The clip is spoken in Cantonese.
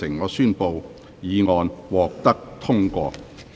我宣布議案獲得通過。